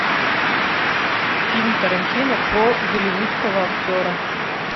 фильм тарантино про голливудского актера